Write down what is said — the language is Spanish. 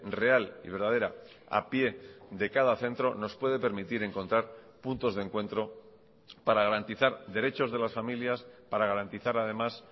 real y verdadera a pie de cada centro nos puede permitir encontrar puntos de encuentro para garantizar derechos de las familias para garantizar además